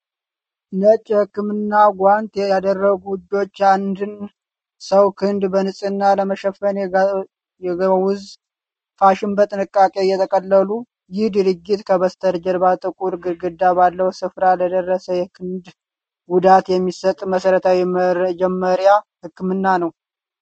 ነጭ የህክምና ጓንት ያደረጉ እጆች፣ የአንድን ሰው ክንድ በንጽህና ለመሸፈን የጋውዝ ፋሻ በጥንቃቄ እየጠቀለሉ። ይህ ድርጊት ከበስተጀርባ ጥቁር ግድግዳ ባለው ስፍራ ለደረሰ የክንድ ጉዳት የሚሰጥ መሰረታዊ የመጀመሪያ ህክምና ነው።